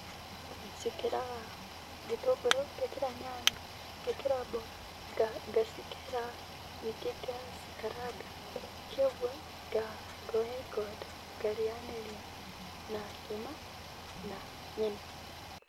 Njĩkĩraga gĩtũngũrũ, ngekĩra nyanya, ngekĩra mboga ngacikera, ningĩ ngacikaranga kĩoguo ngoya ikondo ngarĩanĩria na ngima na nyeni.